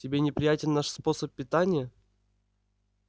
тебе неприятен наш способ питания